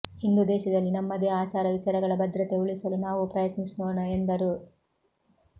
ಹಿಂದೂ ದೇಶದಲ್ಲಿ ನಮ್ಮದೇ ಆಚಾರ ವಿಚಾರಗಳ ಭದ್ರತೆ ಉಳಿಸಲು ನಾವೂ ಪ್ರಯತ್ನಿಸೋಣ ಎಂದರು